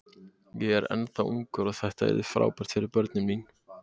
Ég er ennþá ungur og þetta yrði frábært fyrir börnin mín.